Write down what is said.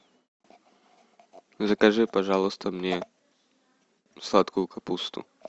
закажи пожалуйста мне сладкую капусту